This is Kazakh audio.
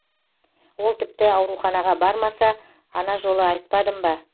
ол тіпті ауруханаға бармаса ана жолы айтпадым ба